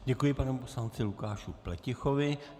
Děkuji panu poslanci Lukáši Pletichovi.